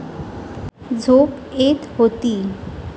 झोप येत होती.